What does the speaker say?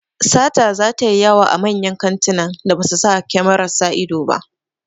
Sata zata yi yawa a manyan kantunan da ba su sa kyamarar sa ido ba